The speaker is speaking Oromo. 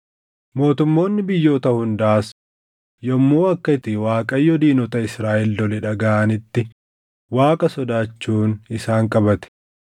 Mootummoonni biyyoota hundaas yommuu akka itti Waaqayyo diinota Israaʼel lole dhagaʼanitti Waaqa sodaachuun isaan qabate.